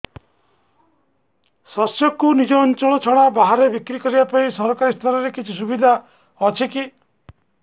ଶସ୍ୟକୁ ନିଜ ଅଞ୍ଚଳ ଛଡା ବାହାରେ ବିକ୍ରି କରିବା ପାଇଁ ସରକାରୀ ସ୍ତରରେ କିଛି ସୁବିଧା ଅଛି କି